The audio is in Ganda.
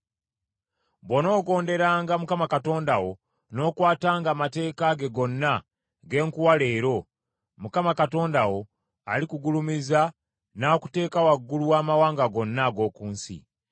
Bw’onoogonderanga Mukama Katonda wo n’okwatanga amateeka ge gonna ge nkuwa leero, Mukama Katonda wo alikugulumiza n’akuteeka waggulu w’amawanga gonna ag’oku nsi.